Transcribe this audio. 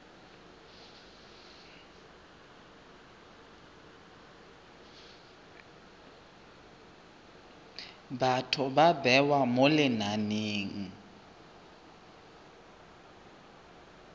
batho ba bewa mo lenaneng